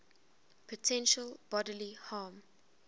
potential bodily harm